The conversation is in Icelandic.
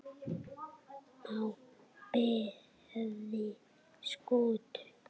á beði Skútu